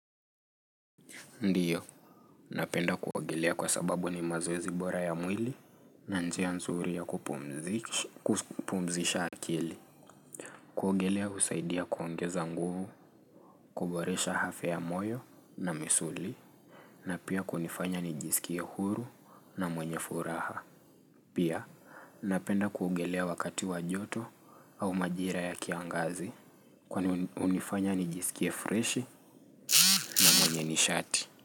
Ndiyo, napenda kuongelea kwa sababu ni mazoezi bora ya mwili na njia nzuri ya kupumzisha akili. Kuogelea husaidia kuongeza nguvu, kuboresha hafya ya moyo na misuli, na pia kunifanya nijisikie huru na mwenye furaha. Pia, napenda kuogelea wakati wa joto au majira ya kiangazi, kwani hunifanya nijisikie fresh na mwenye nishati.